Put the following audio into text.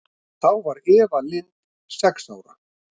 Þá var Eva Lind sex ára.